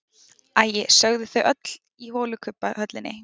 Æi, sögðu þau öll í holukubbahöllinni.